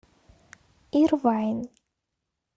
ирвайн